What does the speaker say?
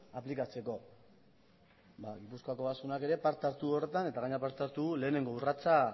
aplikatzeko gipuzkoako ogasunak ere parte hartu du horretan eta gainera parte hartu du lehenengo urratsa